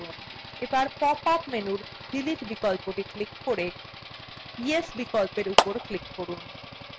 pop up menu delete বিকল্পটি এখন click করে yes বিকল্পর উপর click করুন